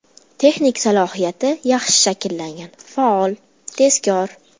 Texnik salohiyati yaxshi shakllangan, faol, tezkor.